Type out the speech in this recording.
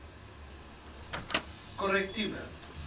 korrektiewe